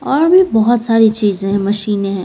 यहां पे बहुत सारी चीजें हैं मशीन है।